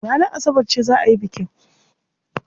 Ranar Asabar ce za a yi bikin.